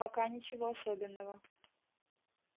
пока ничего особенного